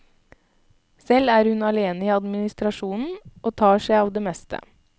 Selv er hun alene i administrasjonen, og tar seg av det meste.